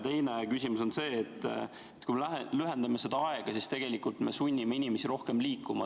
Teine küsimus on see, et kui me lühendame seda aega, siis tegelikult me sunnime inimesi rohkem liikuma.